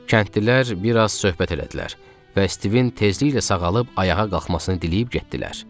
Kəndlilər bir az söhbət elədilər və Stivin tezliklə sağalıb ayağa qalxmasını diləyib getdilər.